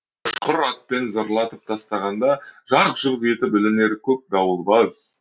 ұшқыр атпен зырлатып тастағанда жарқ жүрқ етіп ілінер көк дауыл баз